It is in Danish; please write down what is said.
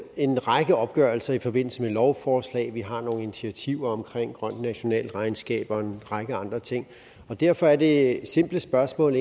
en række opgørelser i forbindelse med lovforslag at vi har nogle initiativer omkring et grønt nationalregnskab og en række andre ting og derfor er det simple spørgsmål